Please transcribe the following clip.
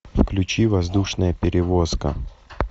включи воздушная перевозка